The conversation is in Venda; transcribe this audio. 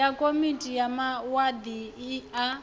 wa komiti ya wadi a